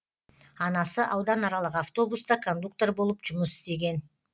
анасы ауданаралық автобуста кондуктор болып жұмыс істеген